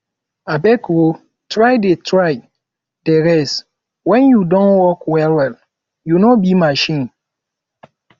abeg o try dey try dey rest wen you don work wellwell you no be machine